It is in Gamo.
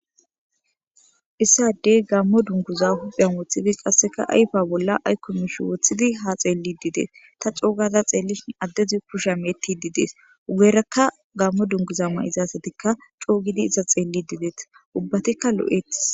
Issadey gammo dunguza hupheyn woththidi qasseka ayfa bolla aykko mishe woththidi ha xeellididees ta coogada xeellishi addezi kusha meetti didees ugerakka gammo dunguzamma izaasatikka coogidi iza xeellidideeta ubbatikka lo7etis